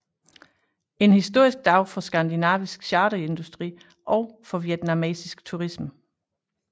En historisk dag for skandinavisk charterindustri og for vietnamesisk turisme